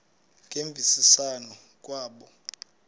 ngemvisiswano r kwabo